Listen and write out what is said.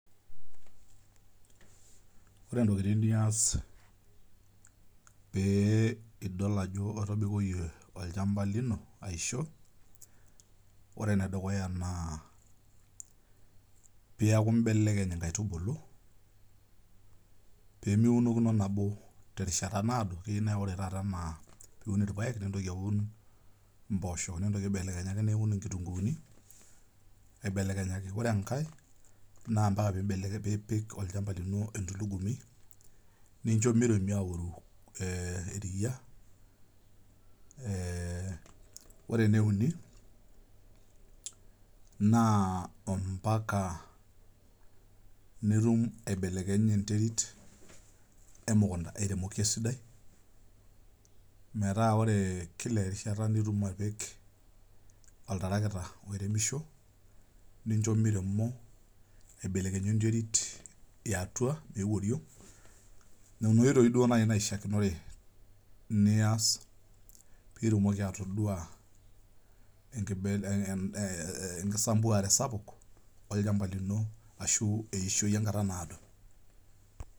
Ore intokitin nias pee idol ajo etobikoiye olchamba lino aisho, ore ene dukuya naa peaku imbelekeny inkaitubulu, pee meunokino nabo terishata naado, ore taata anaa pe iun ilpaek, nintoki aun impoosho nintoki aibelekenyaki niun kitung'uyuni aibelekenyaki. Ore enkai, naa ompaka niipik olchamba lino entulugumi, nincho meiremi auru eriya. Ore ene uni, naa ompaka nitum aibelekeny enterit emukunta airemoki esidai metaa ore kila erishata nitum apik oltarakita oiremisho, nincho meiremo aibelekeyu enterit e atua meeu oriong'. Nena oitoi duo naishaakinore nias pee itumoki atodua enkisambuare sapuk olchamba lino ashu eishoi enkata naado.